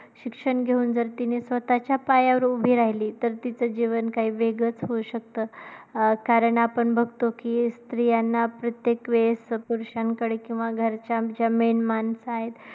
शिक्षण घेऊन जर तीने स्वतःच्या पायावर उभी राहिली, तर तीच जीवन काही वेगळचं होऊ शकतं अं कारण आपण बघतो कि स्त्रियांना प्रत्येक वेळेस पुरुषांकडे किंवा घरच्यांच्या main माणसं आहेत.